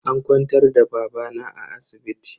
An kwantar da babana a asibiti.